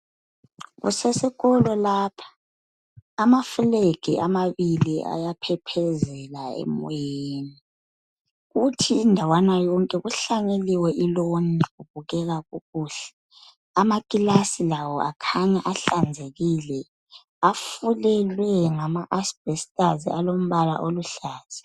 Kusesikolo lapha amaflegi amabili ayaphephezela emoyeni kuthi indawana yonke kuhlanyeliwe iloni kubukeka kukuhle. Amakilasi lawo akhanya ahlanzekile afulelwe ngama asibhestazi alompala oluhlaza.